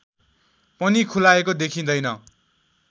पनि खुलाएको देखिँदैन